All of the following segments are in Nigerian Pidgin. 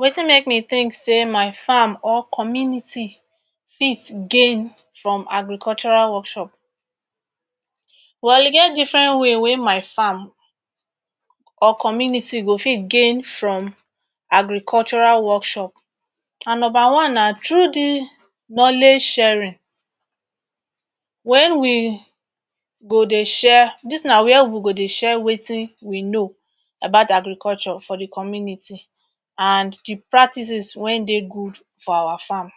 Wetin make me think say my farm or community fit gain from agricultural workshop? Well e get different way wey my farm or community go fit gain from agricultural workshop. And number one na through dis knowledge sharing. When we go dey share, dis thing na where we go dey share wetin we know about agriculture for the community and the practices wey dey good for our farm.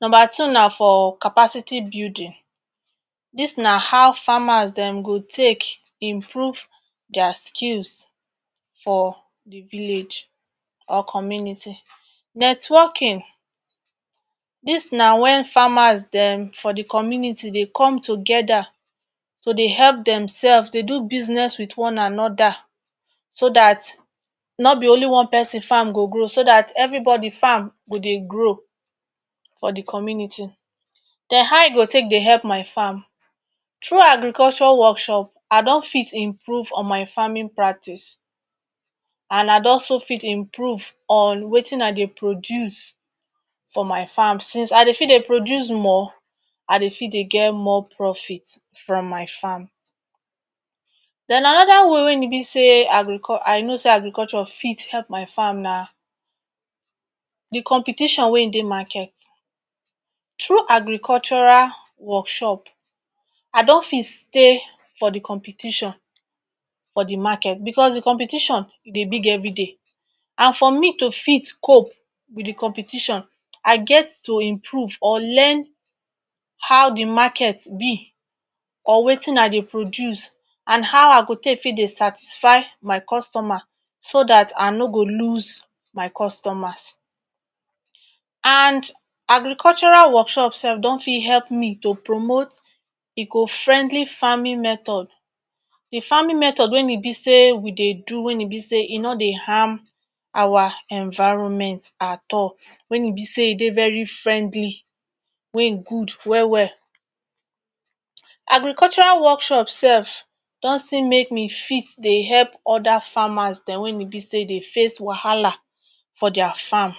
Number two na for capacity building. Dis na how farmers dem go dey take improve their skills for the village or community. Networking, dis na wen farmers dem for the community dey come together to dey help themselves dey do business with one another, so dat no be only one person farm go grow so dat everybody farm go dey grow for the community. Den how e go take dey help my farm? Through agriculture workshop I don fit improve on my farming practice and I dey also fit improve on wetin I dey produce for my farm since I dey fit dey produce more, I dey fit dey get more profit from my farm. Den another one wey e be say?, I know say agriculture fit help my farm na the competition wey e dey market. Through agricultural workshop, I don fit say for the competition for the market because the competition dey big everyday and for me to fit cope wit the competition I get improve or learn how the market be or wetin I dey produce and how I go take fit dey satisfy my customer so dat I no go loose my customers. And agricultural workshop sef don fit help me to promote eco-friendly farming method. A farming method when e be say we dey do, when e be say e no dey harm our environment at all, when e be say e dey very friendly wey good well well. Agricultural workshop sef don still make me fit dey help other farmers dem wey e be say dey face wahala for their farm.